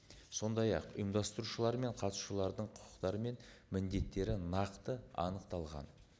сондай ақ ұйымдастырушылар мен қатысушылардың құқықтары мен міндеттері нақты анықталған